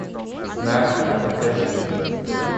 знахарь покажи